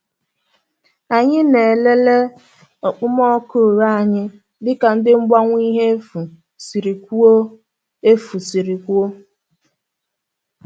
Anyị na-elele okpomọkụ ure anyị dịka ndị mgbanwe ihe efu siri kwuo efu siri kwuo